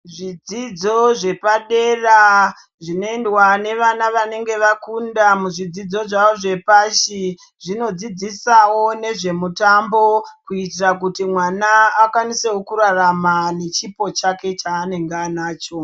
Zvidzidzo zvepadera zvinoendwa nevana vanenge vakunda muzvidzidzo zvavo zvepashi. Zvinodzidzisawo nezvemutambo kuitira kuti mwana akwanisewo kurarama nechipo chake chaanenge ainacho.